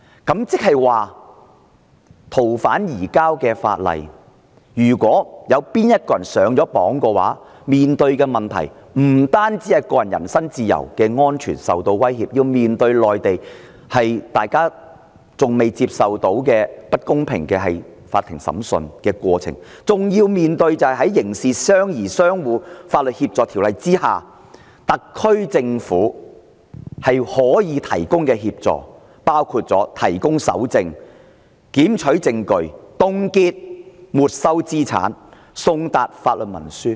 即是說，按《逃犯條例》進行移交的人，不單個人人身自由和安全受到威脅，亦要面對內地的法制中，大家仍未能接受的不公平法庭審訊過程，更要面對在《刑事事宜相互法律協助條例》下，特區政府可以提供的協助，包括提供搜證、檢取證據、凍結沒收資產、送達法律文書。